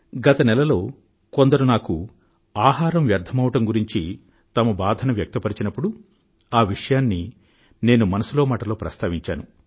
గత నెలలో కొందరు నాకు ఆహారం వ్యర్ధమవడం గురించి తమ బాధను వెలిబుచ్చినప్పుడు ఆ విషయాన్ని నేను మనసులో మాట లో ప్రస్తావించాను